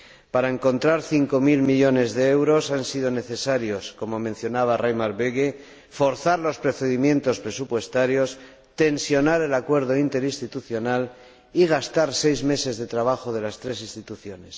Para encontrar cinco mil millones de euros ha sido necesario, como mencionaba Reimer Böge, forzar los procedimientos presupuestarios, tensionar el acuerdo interinstitucional y gastar seis meses de trabajo de las tres instituciones